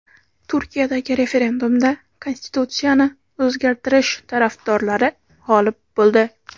Turkiyadagi referendumda konstitutsiyani o‘zgartirish tarafdorlari g‘olib bo‘ldi .